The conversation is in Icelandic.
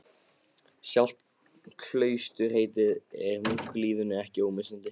Sjálft klausturheitið er munklífinu ekki ómissandi.